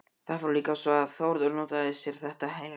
Það fór líka svo að Þórður notaði sér þetta heilræði.